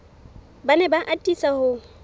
ba ne ba atisa ho